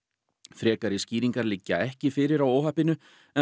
frekari skýringar liggja ekki fyrir á óhappinu en